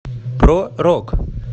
про рок